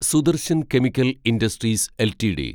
Sudarshan chemical industries LTD